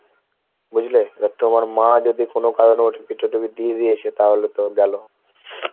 বুঝলে এবার তোমার মা যদি কোনো কারণে OTP টটিপি দিয়ে দিয়েছে তাহলে তো গেলো।